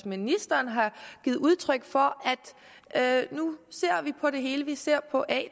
ministeren har givet udtryk for at nu ser vi på det hele vi ser på at